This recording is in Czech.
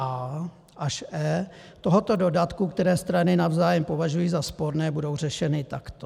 a) až e) tohoto dodatku, které strany navzájem považují za sporné, budou řešeny takto: